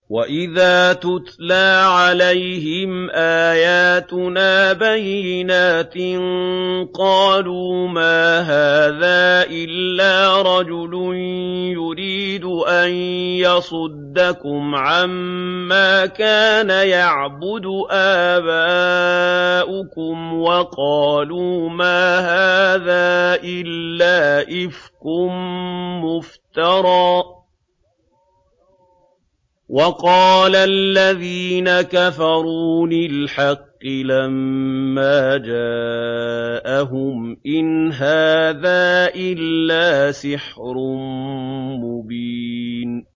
وَإِذَا تُتْلَىٰ عَلَيْهِمْ آيَاتُنَا بَيِّنَاتٍ قَالُوا مَا هَٰذَا إِلَّا رَجُلٌ يُرِيدُ أَن يَصُدَّكُمْ عَمَّا كَانَ يَعْبُدُ آبَاؤُكُمْ وَقَالُوا مَا هَٰذَا إِلَّا إِفْكٌ مُّفْتَرًى ۚ وَقَالَ الَّذِينَ كَفَرُوا لِلْحَقِّ لَمَّا جَاءَهُمْ إِنْ هَٰذَا إِلَّا سِحْرٌ مُّبِينٌ